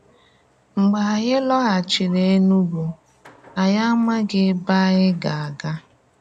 Mgbe ànyí lọghàchírí Énùgù, ànyí amághị ebe ànyí ga-aga.